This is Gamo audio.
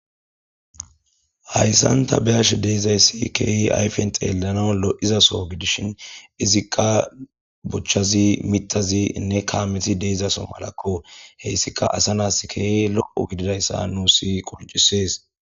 Hayssan ta be'ashe de'izayssi keehi ayfen xeelanaw lo'izasso gidishin izika bochazi mithazi nne kaamezi de'izasso malakko hessika asa na'as keehi lo'o gididayssa nuusi qoncisees.